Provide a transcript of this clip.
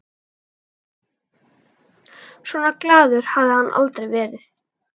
Svona glaður hafði hann aldrei verið.